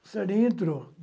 O Sarney entrou.